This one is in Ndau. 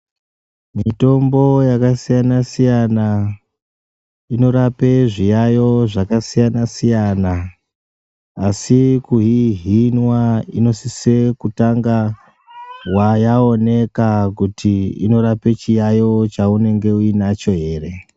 Mitombo yakasiyana-siyana inorape zviyayo zvakasiyana-siyana. Asi kuihinwa inosise kutanga yaoneka kuti inorape chiyayo chaunenge uinacho here.